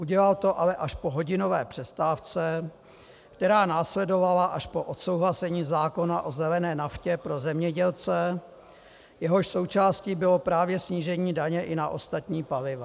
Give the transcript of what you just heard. Udělal to ale až po hodinové přestávce, která následovala až po odsouhlasení zákona o zelené naftě pro zemědělce, jehož součástí bylo právě snížení daně i na ostatní paliva.